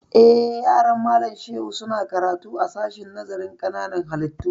Eh, yaran Malam Shehu su na karatu a sashen nazarin ƙananan hallitu